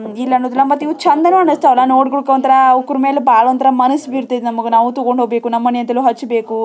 ಇಲ್ಲಿ ಆವಲ ಮತ್ ಇವು ಚಂದ್ ನು ಅನಿಸ್ತವಲ ನೋಡ್ಲಿಕು ಒಂತರ ಅವುಕುರ್ ಮಗು ಬಳ ಒಂತರ ಮಾನಸ ಬೀಳ್ತದ ನಮಗೆ ನಾವು ತಗೋಬೇಕು ನಾವು ಹಚಬೇಕು --